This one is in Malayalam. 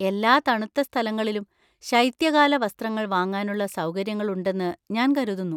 എല്ലാ തണുത്ത സ്ഥലങ്ങളിലും ശൈത്യകാലവസ്ത്രങ്ങൾ വാങ്ങാനുള്ള സൗകര്യങ്ങള്‍ ഉണ്ടെന്ന് ഞാൻ കരുതുന്നു.